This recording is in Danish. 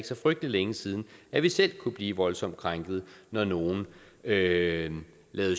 så frygtelig længe siden at vi selv kunne blive voldsomt krænket når nogle lavede